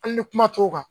Hali ni kuma t'o kan